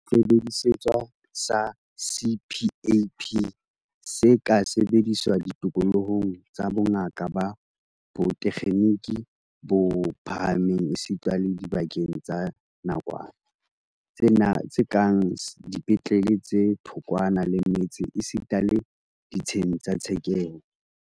Sesebediswa sa CPAP se ka sebediswa ditikolohong tsa bongaka ba botekgeniki bo phahameng esita le dibakeng tsa nakwana, tse kang dipetlele tse thokwana le metse esita le ditsheng tsa tshekeho.